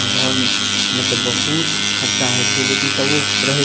घर में ते बहुत खर्चा हेय छै लेकिन तबो रहे --